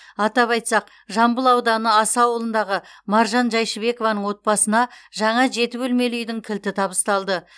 атап айтсақ жамбыл ауданы аса ауылындағы маржан жайшыбекованың отбасына жаңа жеті бөлмелі үйдің кілті табысталды